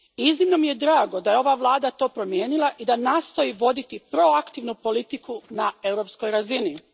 Iznimno mi je drago da je ova vlada to promijenila i da nastoji voditi proaktivnu politiku na europskoj razini.